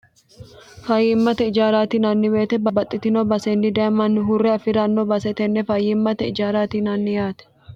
fayyimmate ijaaraati yinanni weete baxxitino basenni daye manni hurre afi'ranno base tenne fayyimmate ijaaraati yinanni yaate